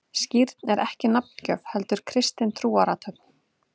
Skírn er ekki nafngjöf, heldur kristin trúarathöfn.